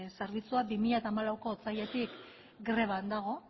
zerbitzua bi mila hamalauko otsailetik greban dago